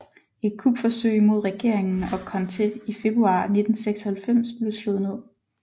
Et kupforsøg mod regeringen og Conté i februar 1996 blev slået ned